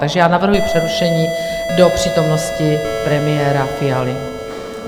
Takže já navrhuji přerušení do přítomnosti premiéra Fialy.